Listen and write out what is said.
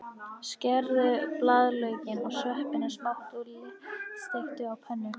Skerðu blaðlaukinn og sveppina smátt og léttsteiktu á pönnu.